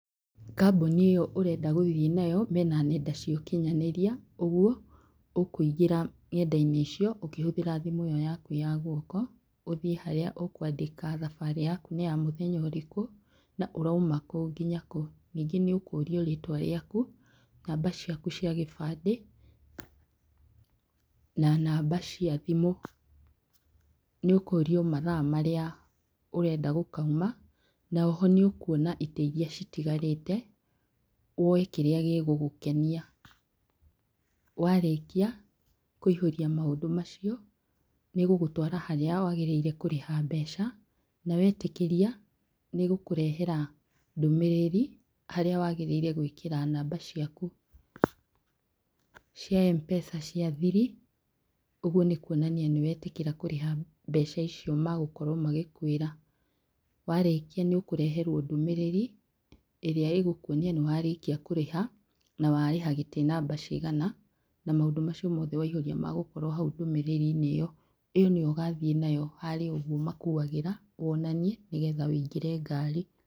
Kambuni ĩyo ũrenda gũthiĩ nayo, mena nenda cia ũkinyanĩria, ũguo ũkũingĩra nenda-inĩ icio ũkĩhũthĩra thimũ ĩyo yaku ya guoko, ũthiĩ harĩa ũkwandĩka thabarĩ yaku nĩ ya mũthenya ũrĩkũ, na ũrauma kũ nginya kũ. Ningĩ nĩ ũkũrio rĩtwa rĩaku, namba ciaku cia gĩbandĩ, na namba cia thimũ. Nĩ ũkũrio mathaa marĩa ũrenda gũkauma, na oho nĩ ũkuona itĩ iria citigarĩte, woye kĩrĩa gĩgũgũkenia. Warĩkia, kũihũria maũndũ macio, nĩ ĩgũgũtwara harĩa wagĩrĩire kũrĩha mbeca, na wetĩkĩria, nĩ ĩgũkũrehera ndũmĩrĩri, harĩa wagĩrĩire gwĩkĩra namba ciaku cia Mpesa cia thiri. Ũguo nĩ kuonania nĩwetĩkĩra kũrĩha mbeca icio magũkorwo magĩkwĩra. Warĩkia nĩ ũkũreherwo ndũmĩrĩri, ĩrĩa ĩgũkuonia nĩ warĩkia kũrĩha, na warĩha gĩtĩ namba cigana, na maũndũ macio mothe waihũrĩa magũkorwo hau ndũmĩrĩri-inĩ ĩyo. Ĩyo nĩyo ũgathiĩ nayo harĩa ũguo makuagĩra, wonanie, nĩgetha wũingĩre ngari.